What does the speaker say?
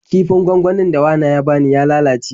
Kifin gwangwanin da wana ya bani ya lalace.